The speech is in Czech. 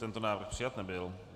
Tento návrh přijat nebyl.